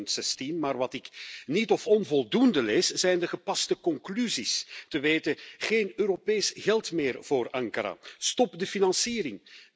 2016. Maar wat ik niet of onvoldoende lees, zijn de gepaste conclusies, te weten geen Europees geld meer voor Ankara, stop de financiering.